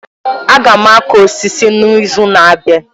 Aga m akụ osisi n'izu na-abịa